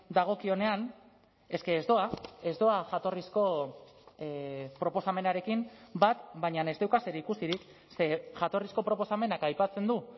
dagokionean eske ez doa ez doa jatorrizko proposamenarekin bat baina ez dauka zerikusirik ze jatorrizko proposamenak aipatzen du